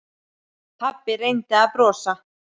Pabbi reyndi að brosa.